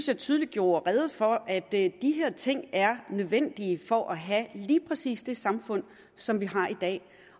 jeg tydeligt gjorde rede for at de her ting er nødvendige for at have lige præcis det samfund som vi har i dag